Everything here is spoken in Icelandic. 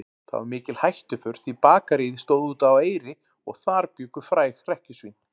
Það var mikil hættuför því Bakaríið stóð úti á Eyri og þar bjuggu fræg hrekkjusvín.